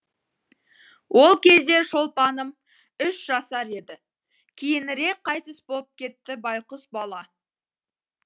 ол кезде шолпаным үш жасар еді кейінірек қайтыс боп кетті байғұс бала